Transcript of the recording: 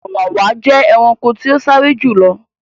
Ọ̀wàwà jẹ́ ẹranko tí o sáré jù lọ